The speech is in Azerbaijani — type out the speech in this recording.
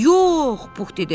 Yox, Pux dedi.